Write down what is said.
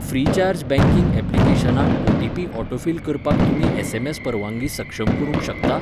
Freecharge banking ऍप्लिकेशनाक OTP autofill करपाक तुमी एसएमएस परवानगी सक्षम करूंक शकता?